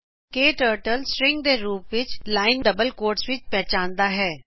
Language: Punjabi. ਕਟਰਟਲ ਸਟ੍ਰੀਂਗ ਦੇ ਰੂਪ ਵਿੱਚ ਦੂਹਰੇ ਰੂਪ ਵਿੱਚ ਇਕ ਲਾਇਨ ਪਹਚਾਣਦਾ ਹੈ